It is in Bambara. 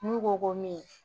N'u ko ko min